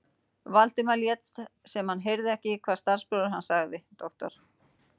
Valdimar lét sem hann heyrði ekki, hvað starfsbróðir hans sagði: Doktor